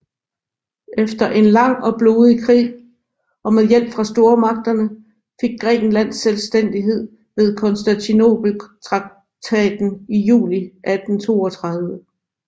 Efter en lang og blodig krig og med hjælp fra stormagterne fik Grækenland selvstændighed ved Konstantinopeltraktaten i juli 1832